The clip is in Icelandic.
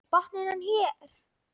Botninn er hér!